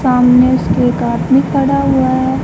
सामने उसके एक आदमी खड़ा हुआ हैं।